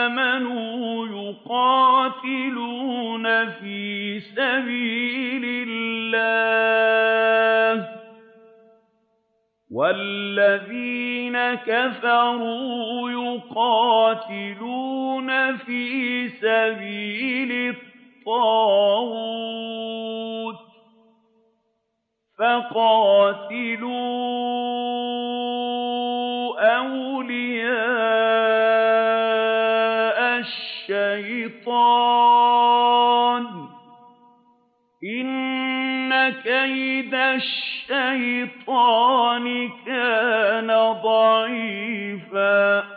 آمَنُوا يُقَاتِلُونَ فِي سَبِيلِ اللَّهِ ۖ وَالَّذِينَ كَفَرُوا يُقَاتِلُونَ فِي سَبِيلِ الطَّاغُوتِ فَقَاتِلُوا أَوْلِيَاءَ الشَّيْطَانِ ۖ إِنَّ كَيْدَ الشَّيْطَانِ كَانَ ضَعِيفًا